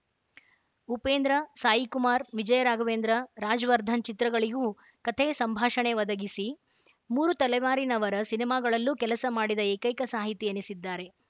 ಉಪೇಂದ್ರ ಸಾಯಿಕುಮಾರ್‌ ವಿಜಯ ರಾಘವೇಂದ್ರ ರಾಜವರ್ಧನ್‌ ಚಿತ್ರಗಳಿಗೂ ಕಥೆಯ ಸಂಭಾಷಣೆ ಒದಗಿಸಿ ಮೂರು ತಲೆಮಾರಿನವರ ಸಿನಿಮಾಗಳಲ್ಲೂ ಕೆಲಸ ಮಾಡಿದ ಏಕೈಕ ಸಾಹಿತಿ ಎನಿಸಿದ್ದಾರೆ